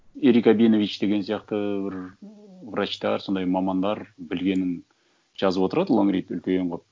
ерік абенович деген сияқты бір врачтар сондай мамандар білгенін жазып отырады лонгрид үлкен қылып